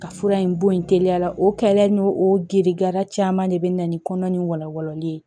Ka fura in bɔ yen teliya la o kɛlɛya n'o o gerera caman de bɛ na ni kɔnɔna ni walali ye